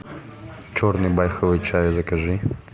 черный байховый чай закажи